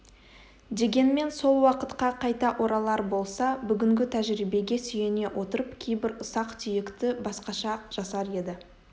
дегенмен сол уақытқа қайта оралар болса бүгінгі тәжірибеге сүйене отырып кейбір ұсақ-түйекті басқаша жасар еді